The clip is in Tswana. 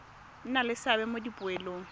nna le seabe mo dipoelong